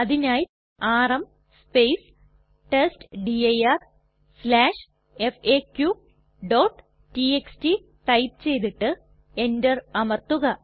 അതിനായി ആർഎം testdirfaqടിഎക്സ്ടി ടൈപ്പ് ചെയ്തിട്ട് എന്റർ അമർത്തുക